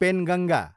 Penganga